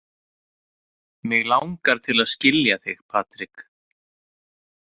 Mig langar til að skilja þig, Patrik.